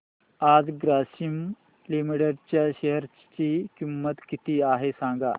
आज ग्रासीम लिमिटेड च्या शेअर ची किंमत किती आहे सांगा